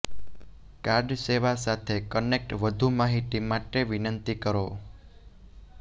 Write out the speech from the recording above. card સેવા સાથે connect વધુ માહિતી માટે વિનંતી કરો